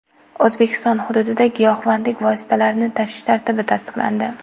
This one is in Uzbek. O‘zbekiston hududida giyohvandlik vositalarini tashish tartibi tasdiqlandi.